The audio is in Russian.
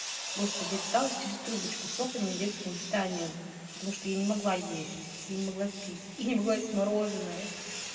господи я питалась через трубочку соками и детским питанием потому что я не могла есть я не могла пить я не могла есть мороженое